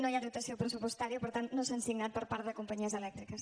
no hi ha dotació pressupostària per tant no s’han signat per part de companyies elèctriques